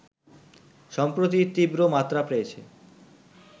সম্প্রতি তীব্র মাত্রা পেয়েছে